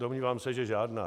Domnívám se, že žádná.